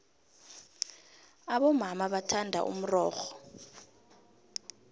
abomama bathanda umxoxho